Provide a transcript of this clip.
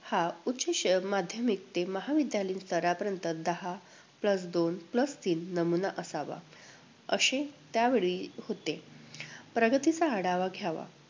हा उच्च शै~ माध्यमिक ते महाविद्यालयीन स्तरापर्यंत दहा plus दोन plus तीन नमुना असावा, असे त्यावेळी होते. प्रगतीचा आढावा घ्यावा.